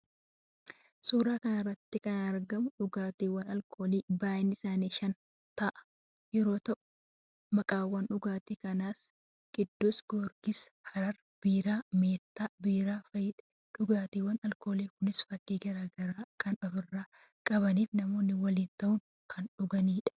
Suuraa kanarratti kan argamu dhugaatiiwwan alkoolii baay'innisaanii shan ta'an yeroo ta'u maqaawwan dhugaatii kanaas qiddus giyoorgis, harar biiraa, meettaa biiraa fa'idha. Dhugaatiiwwan alkoolii kunis fakkii gara garaa kan ofirraa qabaniifi namoonni waliin ta'uun kan dhuganidha.